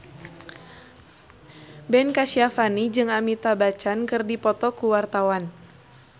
Ben Kasyafani jeung Amitabh Bachchan keur dipoto ku wartawan